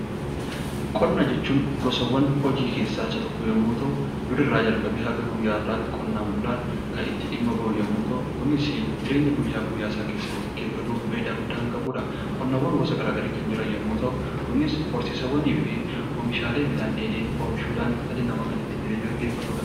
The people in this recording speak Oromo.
Qonna jechuun gosawwan hojii keessaa tokko yammuu ta'u; duri irraa jalqabee hanga guyyaa har'aatti qonnaan bulaan kan itti dhimma ba'uu yammuu ta'u; kunis jireenya guyyaa guyyaa isaa keessatti gaggeeffatuuf faayidaa guddaa kan qabuudha. Qonnaawwan gosa garaa garii kan jiran yoo ta'u; kunis horsiisawwanii fi oomishaalee miidhaan dheedhii oomishuudhaan dhalli namaa kan ittiin jireenya gaggeeffatuudha.